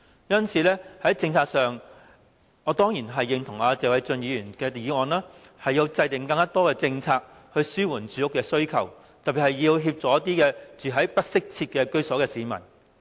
因此，我當然認同謝偉俊議員提出的議案，認為政府應制訂更多政策，紓緩市民的住屋需求，特別是要協助一些住在不適切居所的市民。